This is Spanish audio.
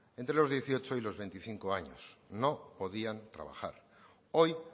entre los dieciocho y los veinticinco años no podían trabajar hoy